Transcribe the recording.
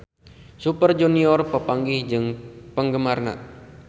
Super Junior papanggih jeung penggemarna